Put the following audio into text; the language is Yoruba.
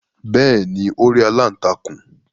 Bẹ́ẹ̀ni, Ó rí “aláǹtakùn".